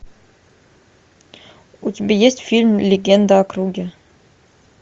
у тебя есть фильм легенда о круге